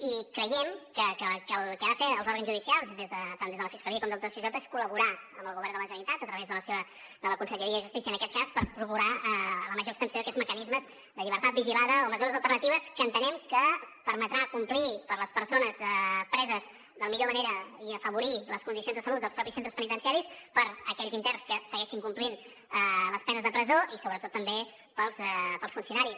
i creiem que el que han de fer els òrgans judicials tant des de la fiscalia com del tsj és col·laborar amb el govern de la generalitat a través de la conselleria de justícia en aquest cas per procurar la major extensió d’aquests mecanismes de llibertat vigilada o mesures alternatives que entenem que permetran complir per les persones preses de la millor manera i afavorir les condicions de salut dels mateixos centres penitenciaris per a aquells interns que segueixin complint les penes de presó i sobretot també per als funcionaris